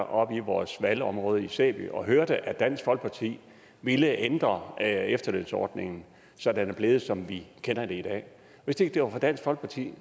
oppe i vores valgområde i sæby og hørte at dansk folkeparti ville ændre efterlønsordningen så den er blevet som vi kender den i dag hvis ikke det var for dansk folkeparti